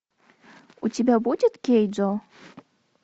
у тебя будет кейджо